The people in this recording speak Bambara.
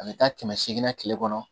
A bɛ taa kɛmɛ seegin na tile kɔnɔ